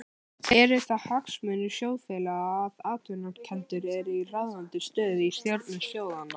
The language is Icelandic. Eru það hagsmunir sjóðfélaga að atvinnurekendur eru í ráðandi stöðu í stjórnum sjóðanna?